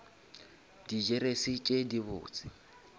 di jeresi tše di botse